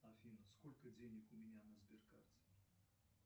афина сколько денег у меня на сберкарте